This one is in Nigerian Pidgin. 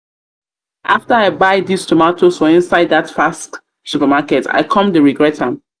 after i buy this tomatoes for inside that faxx supermarket i come dey regret am